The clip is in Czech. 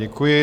Děkuji.